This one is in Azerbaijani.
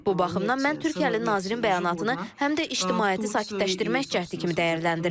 Bu baxımdan mən Türkiyəli nazirin bəyanatını həm də ictimaiyyəti sakitləşdirmək cəhdi kimi dəyərləndirirəm.